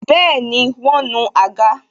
Bẹẹni, wọn nu àga